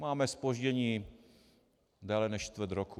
Máme zpoždění déle než čtvrt roku.